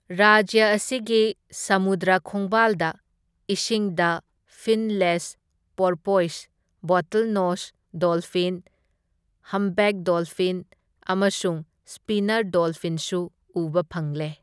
ꯔꯥꯖ꯭ꯌ ꯑꯁꯤꯒꯤ ꯁꯃꯨꯗ꯭ꯔ ꯈꯣꯡꯕꯥꯜꯗ ꯏꯁꯤꯡꯗ finless porpoise, bottlenose dolphin, humpback dolphin ꯑꯃꯁꯨꯡ ꯁ꯭ꯄꯤꯅꯔ ꯗꯣꯜꯐꯤꯟꯁꯨ ꯎꯕ ꯐꯪꯂꯦ꯫